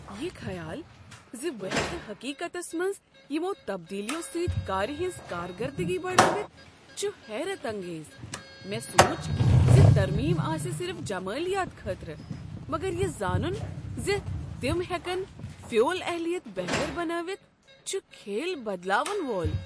یہ خیال ز بہٕ ہٮ۪كہٕ حقیقتس منز یمو٘ تبدیلیو سٕتۍ كارِ ہنز کارکردگی بڑٲوتھ چھُ حیرت انگیز۔ مےٚ سوچ زِ ترمیم آسہِ صرف جمالیات خٲطرٕ، مگر یہ زانُن ز تم ہیکن فیول اہلیت بہتر بنٲوتھ چھُ كھیل بدلاون وول ۔